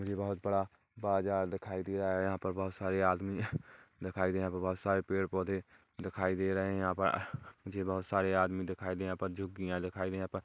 यह बहुत बड़ा बाजार दिखाई दे रहा है यहां पर बहुत सारे आदमी दिखाई दे रहे हैं यहां बहुत सारे पेड़-पौधे दिखाई दे रहे हैं यहां पर मुझे बहुत सारे आदमी दिखाई दे रहे हैं।